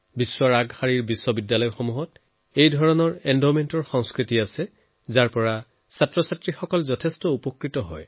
বিশ্বৰ জনাজাত ইউনিভাৰছিটীত এনেধৰণৰ এন্ডমেণ্ট বনোৱাৰ কালচাৰ আছে যি ছাত্ৰছাত্ৰীক সহায় কৰে